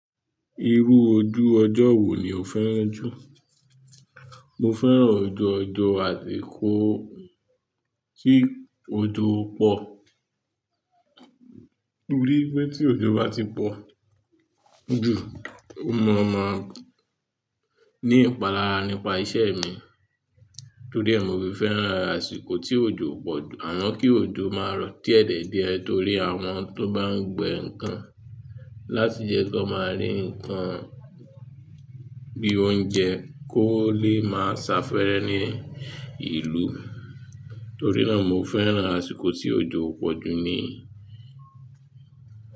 Irú ojú ọjọ́ wo ni o fẹ́ràn jù? Mo fẹ́ràn ojú ọjọ́ àsìkò tí òjò o pọ̀r. Mo rí pé tí òjò bá ti pọ̀, ojo o ma máa ń ní ìpalára nípa iṣẹ́ mi. Torí è mo fi fẹ́ràn àsìkò tí òjò pọ̀r jù. Àmá kí òjò máa rọ̀ diedie torí àwọn tó bá ń gbin nǹkan láti jẹ ko máa rí nǹkan bí oúnjẹ kó lè máa safẹ́rẹ́ ní ìlú. Torí náà mo fẹ́ràn àsìkò tí òjò pọ̀ jù ni.